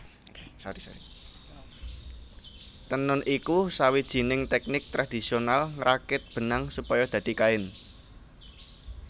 Tenun iku sawijining tèknik tradisional ngrakit benang supaya dadi kain